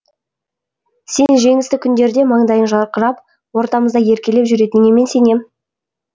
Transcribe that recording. сен жеңісті күндерде маңдайың жарқырап ортамызда еркелеп жүретініңе мен сенем